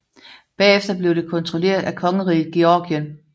Bagefter blev det kontrolleret af kongeriget Georgien